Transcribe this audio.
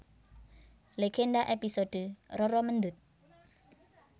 Legenda episode Roro Mendut